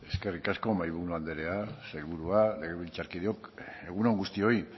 eskerrik asko mahaiburu andrea sailburua legebiltzarkideok egun on guztioi